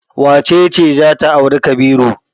Wace ce za ta auri Kabiru?